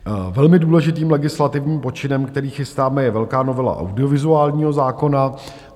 Velmi důležitým legislativním počinem, který chystáme, je velká novela audiovizuálního zákona.